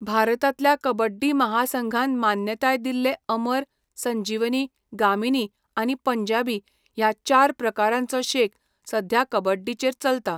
भारतांतल्या कबड्डी महासंघान मान्यताय दिल्ले अमर, संजीवनी, गामिनी आनी पंजाबी ह्या चार प्रकारांचो शेक सध्या कबड्डीचेर चलता.